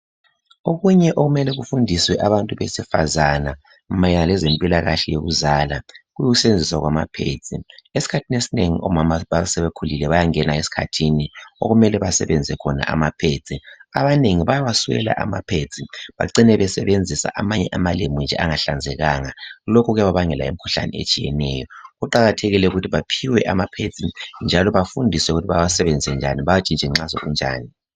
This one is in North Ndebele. Okunye okumele kufundiswe abantu besifazana mayelana lezempilakahle yokuzala, ukusebenzisa kwamaphedzi. Esikhathini esinengi omama bayangena esikhathini okumele basebenzise khona amaphedzi. Abanengi bayawaswela amaphedzi bacine besebenzisa amanye amalembu nje angahlanzekanga lokhu kuyababangela imikhuhlane etshiyeneyo. Kuqakathekile ukuthi baphiwe amaphedzi njalo bafundiswe ukuthi bawasebenzise njani bawatshintshe nxa sekunjani.